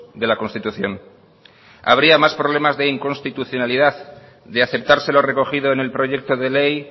de la constitución habría más problemas de inconstitucionalidad de aceptarse lo recogido en el proyecto de ley